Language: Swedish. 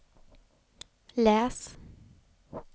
läs